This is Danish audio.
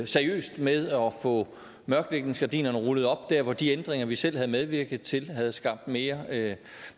seriøst med at få mørklægningsgardinerne rullet op der hvor de ændringer vi selv havde medvirket til havde skabt mere